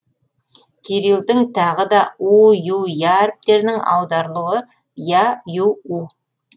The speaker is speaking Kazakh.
кирилдің тағы да у ю я әріптерінің аударылуы я ю у